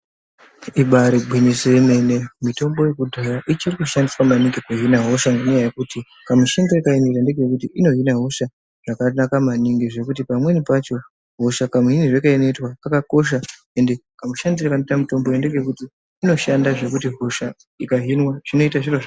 Ibari gwinyiso yemene mitombo yekudhaya ichiri kushandiswa maningi kuhina hosha ngenya yekuti kamushandire kayiri kuita ino hina hosha zvakanaka maningi zvekuti pamweni pacho hosha kamuhinirwe kayinoitwa kakakosha ende kamushandiro kanoite mutombo ngekekuti inoshanda zvekuti ikahinwa zvinoita zviro zvakanaka.